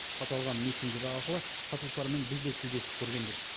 аталған мессенджер арқылы сатушылармен біз де тілдесіп көргенбіз